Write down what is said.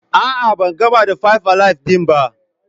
A'a ban gamar da "five alive " din ba.